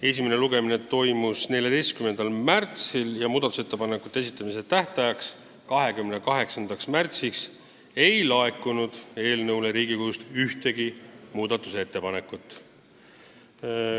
Esimene lugemine toimus 14. märtsil, muudatusettepanekute esitamise tähtajaks, 28. märtsiks ei laekunud Riigikogust ühtegi ettepanekut.